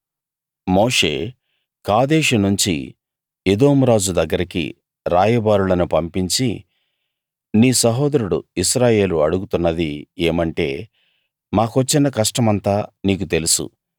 మోషే కాదేషు నుంచి ఎదోము రాజు దగ్గరికి రాయబారులను పంపించి నీ సహోదరుడు ఇశ్రాయేలు అడుగుతున్నది ఏమంటే మాకొచ్చిన కష్టమంతా నీకు తెలుసు